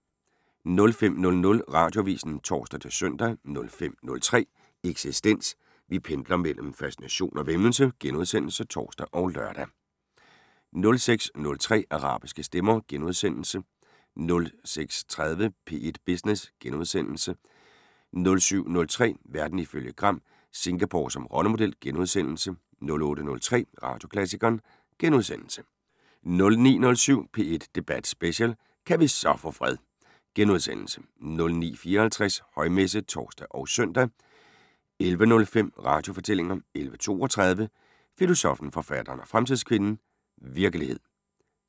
05:00: Radioavisen (tor-søn) 05:03: Eksistens: Vi pendler mellem fascination og væmmelse *(tor og lør) 06:03: Arabiske stemmer * 06:30: P1 Business * 07:03: Verden ifølge Gram: Singapore som rollemodel * 08:03: Radioklassikeren * 09:07: P1 Debat Special: Kan vi så få fred! * 09:54: Højmesse - (tor og søn) 11:05: Radiofortællinger 11:32: Filosoffen, forfatteren og fremtidskvinden: Virkelighed